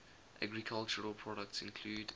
agricultural products include